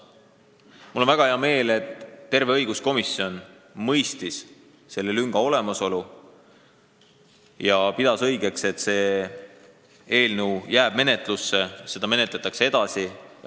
Mul on väga hea meel, et terve õiguskomisjon mõistis selle lünga olemasolu ja pidas õigeks, et see eelnõu jääb menetlusse, seda menetletakse edasi.